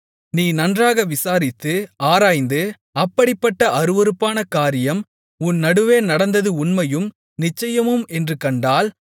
நீ நன்றாக விசாரித்து ஆராய்ந்து அப்படிப்பட்ட அருவருப்பான காரியம் உன் நடுவே நடந்தது உண்மையும் நிச்சயமும் என்று கண்டால்